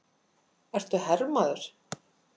Ert þú hermaður?